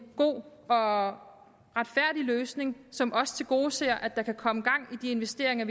god og retfærdig løsning som også tilgodeser at der kan komme gang i de investeringer